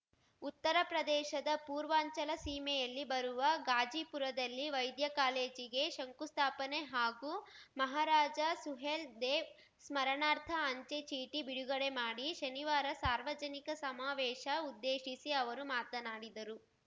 ಉತ್ತರಪ್ರದೇಶದ ಪೂರ್ವಾಂಚಲ ಸೀಮೆಯಲ್ಲಿ ಬರುವ ಗಾಜಿಪುರದಲ್ಲಿ ವೈದ್ಯ ಕಾಲೇಜಿಗೆ ಶಂಕುಸ್ಥಾಪನೆ ಹಾಗೂ ಮಹಾರಾಜ ಸುಹೇಲ್‌ದೇವ್‌ ಸ್ಮರಣಾರ್ಥ ಅಂಚೆ ಚೀಟಿ ಬಿಡುಗಡೆ ಮಾಡಿ ಶನಿವಾರ ಸಾರ್ವಜನಿಕ ಸಮಾವೇಶ ಉದ್ದೇಶಿಸಿ ಅವರು ಮಾತನಾಡಿದರು